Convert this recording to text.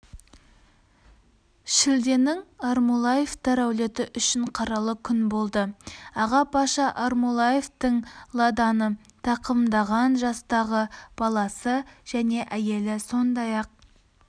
шілденің амрулаевтар әулеті үшін қаралы күн болды ағапаша амрулаевтың ладаны тақымдаған жастағы баласы және әйелі сондай-ақ